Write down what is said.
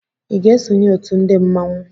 I ga-esonye òtù ndị mmanwu?